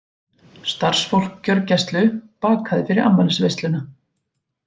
Starfsfólk gjörgæslu bakaði fyrir afmælisveisluna